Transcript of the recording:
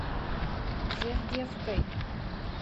жердевкой